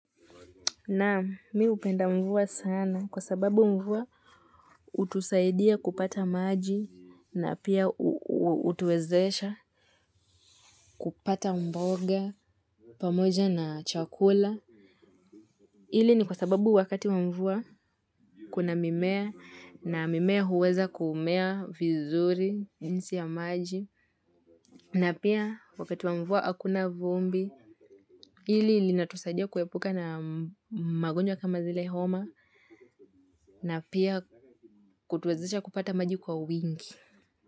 Nam mi hupenda mvua sana kwa sababu mvua hutusaidia kupata maji na pia hutuwezesha kupata mboga pamoja na chakula. Hili ni kwa sababu wakati wa mvua kuna mimea na mimea huweza kumea vizuri jinsi ya maji. Na pia wakati wa mvua hakuna vumbi ili linatusaidia kuepuka na magonjwa kama vile homa na pia kutuwezesha kupata maji kwa wingi.